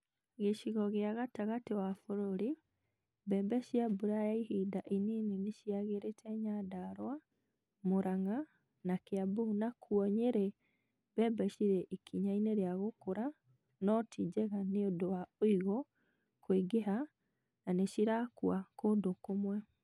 Gĩcigo kĩa gatagatĩ wa bũrũri mbembe cia mbura ya ihinda inini nĩciagĩrĩte Nyandarua, Mũrang’a na Kĩambu nakuo Nyeri mbembe cirĩ ikinya-inĩ rĩa gukura no tinjega nĩũndũ wa ũigũ kũingĩha na nĩcirakua kũndũ kũmwe